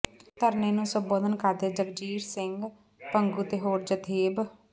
ਧਰਨੇ ਨੂੰ ਸੰਬੋਧਨ ਕਰਦਿਆਂ ਜਗਸੀਰ ਸਿੰਘ ਭੰਗੂ ਤੇ ਹੋਰ ਜਥੇਬ